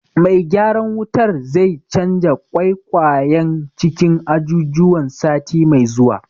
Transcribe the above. Mai gyaran wutar zai canja ƙwaiƙwayen cikin ajujuwan sati mai zuwa.